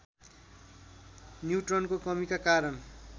न्युट्रनको कमीका कारण